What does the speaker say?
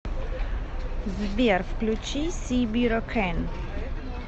сбер включи си бира кэн